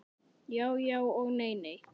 Já já og nei nei.